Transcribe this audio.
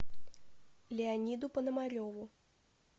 леониду пономареву